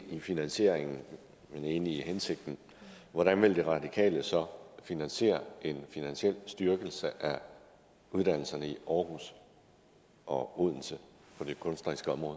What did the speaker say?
i finansieringen men enig i hensigten hvordan vil de radikale så finansiere en finansiel styrkelse af uddannelserne i aarhus og odense på det kunstneriske område